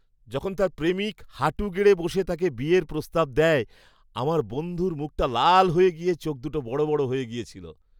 যখন তার প্রেমিক হাঁটু গেড়ে বসে তাকে বিয়ের প্রস্তাব দেয়, আমার বন্ধুর মুখটা লাল হয়ে গিয়ে চোখ দুটো বড় বড় হয়ে গেছিলো।